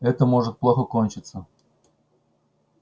это может плохо кончиться